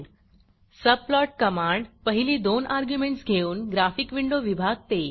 subplot command पहिली दोन arguments घेऊन ग्राफिक विंडो विभागते